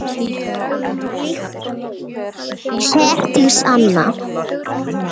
Herdís Anna.